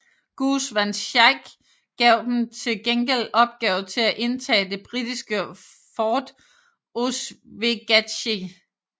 Goose van Schaick gav dem til gengæld opgave til at indtage det britiske fort Oswegatchee